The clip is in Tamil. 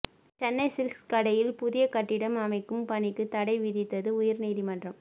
சென்னை சில்க்ஸ் கடையில் புதிய கட்டிடம் அமைக்கும் பணிக்கு தடை விதித்தது உயர்நீதிமன்றம்